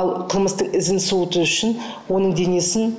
ал қылмыстың ізін суыту үшін оның денесін